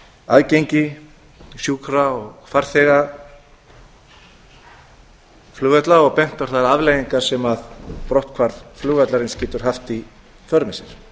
aðgengi sjúkra og farþegaflugvalla og bent á þær afleiðingar sem brotthvarf flugvallarins getur haft í för með sér